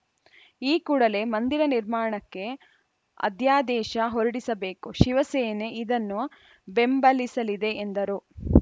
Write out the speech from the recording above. ಈ ಕೂಡಲೇ ಮಂದಿರ ನಿರ್ಮಾಣಕ್ಕೆ ಅಧ್ಯಾದೇಶ ಹೊರಡಿಸಬೇಕು ಶಿವಸೇನೆ ಇದನ್ನು ಬೆಂಬಲಿಸಲಿದೆ ಎಂದರು